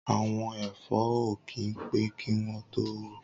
Awọn ẹ̀fọ̀ ó kin pẹ̀ kiwọn tó wù